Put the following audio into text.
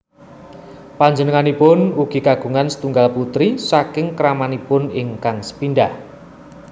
Panjenenganipun ugi kagungan setunggal putri saking kramanipun ingkang sepindhah